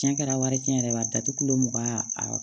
Cɛn kɛra wari cɛn yɛrɛ la datugulen mugan a